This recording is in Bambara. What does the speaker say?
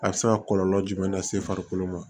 A bɛ se ka kɔlɔlɔ jumɛn lase farikolo ma